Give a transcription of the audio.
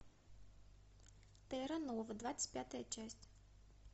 терра нова двадцать пятая часть